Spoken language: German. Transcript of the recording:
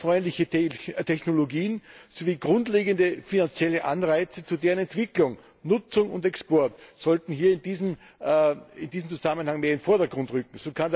Klimafreundliche Technologie sowie grundlegende finanzielle Anreize zu deren Entwicklung, Nutzung und Export sollten hier in diesem Zusammenhang mehr in den Vordergrund rücken.